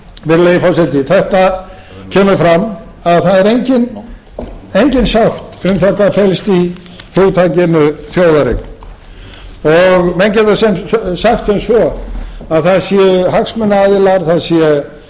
virðulegi forseti þetta kemur fram að það er engin sátt um hvað felst í hugtakinu þjóðareign og menn geta sagt sem svo að það séu hagsmunaaðilar það